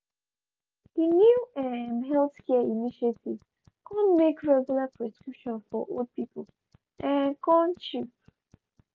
di new um healthcare initiative kon make regular prescription for old pipu um kom cheap.